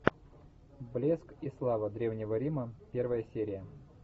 блеск и слава древнего рима первая серия